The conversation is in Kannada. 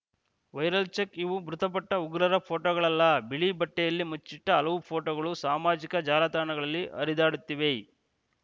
ವೈರಲ್‌ ಚೆಕ್‌ ಇವು ಮೃತಪಟ್ಟ ಉಗ್ರರ ಫೋಟೋಗಳಲ್ಲ ಬಿಳಿ ಬಟ್ಟೆಯಲ್ಲಿ ಮುಚ್ಚಿಟ್ಟಹಲವು ಫೋಟೋಗಳು ಸಾಮಾಜಿಕ ಜಾಲತಾಣಗಳಲ್ಲಿ ಹರಿದಾಡುತ್ತಿವೆ